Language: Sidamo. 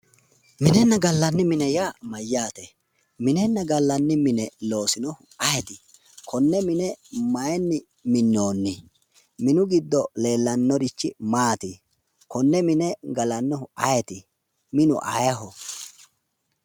Minenna gallanni mine yaa mayyaate? minenna gallanni mine loosinohu ayeeti? Mine mayinni minnoonni? Minu giddo leellannorichi maati? Kinne mine galannohu ayeeti? Minu ayeeho?